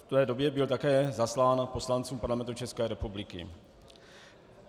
V té době byla také zaslána poslancům Parlamentu České republiky.